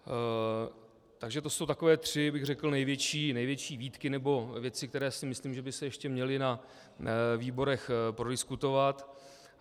Takže to jsou takové tři, řekl bych, největší výtky nebo věci, které si myslím, že by se ještě měly na výborech prodiskutovat.